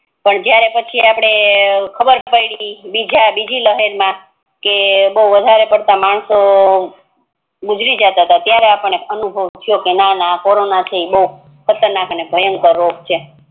પણ જયારે પછી આપડને ખબર પડી બીજી લહેર મા બૌ વધારે પડતાં માણસો ગુજારી જતાં તા ત્યારે આપડને અનુભવ થયું કે નાના આ કોરોનો બૌ ખતર નાક ને ભયંકર રોગ છે